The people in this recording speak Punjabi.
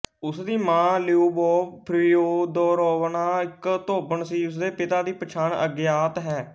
ਉਸ ਦੀ ਮਾਂ ਲਿਊਬੋਵ ਫੀਓਦੋਰੋਵਨਾ ਇੱਕ ਧੋਬਣ ਸੀ ਉਸ ਦੇ ਪਿਤਾ ਦੀ ਪਛਾਣ ਅਗਿਆਤ ਹੈ